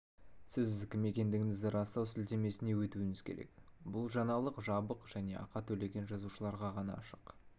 сіз кім екендігіңізді растау сілтемесіне өтуіңіз керек бұл жаңалық жабық және ақы төлеген жазылушыларға ғана ашық